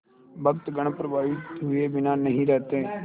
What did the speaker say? भक्तगण प्रभावित हुए बिना नहीं रहते